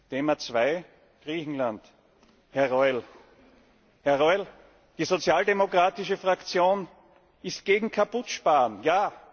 Thema 2, Griechenland Herr Reul, die sozialdemokratische Fraktion ist gegen Kaputtsparen, ja!.